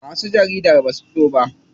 Masu jarida basu fito ba.